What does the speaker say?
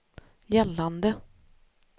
gällande